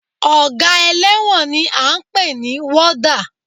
Ọgá ẹlẹ́wọ̀n ni à ń pè ní Wọ́dà